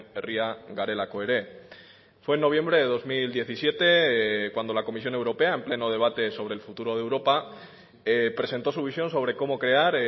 herria garelako ere fue en noviembre de dos mil diecisiete cuando la comisión europea en pleno debate sobre el futuro de europa presentó su visión sobre cómo crear